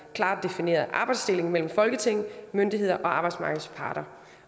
klart defineret arbejdsdeling mellem folketing myndigheder og arbejdsmarkedets parter